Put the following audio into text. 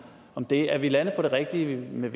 om det er vi landet på det rigtige med